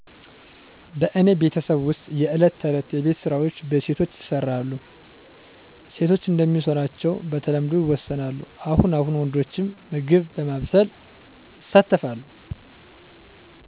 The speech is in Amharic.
በእኔ ቤተሰብ ውስጥ የእለት ተዕለት የቤት ስራዎች በሴቶች ይሰራሉ። ሴቶች እንደሚሰሯቸው በተለምዶ ይወሰናሉ። አሁን አሁን ወንዶችም ምግብ በማብሰል ይሳተፍሉ።